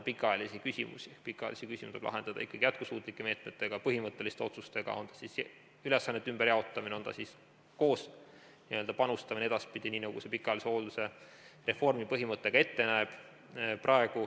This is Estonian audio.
Pikaajalisi küsimusi tuleb lahendada ikkagi jätkusuutlike meetmetega, põhimõtteliste otsustega, on see siis ülesannete ümberjaotamine, on see siis koos panustamine edaspidi, nii nagu pikaajalise hoolduse reformi põhimõte ka ette näeb.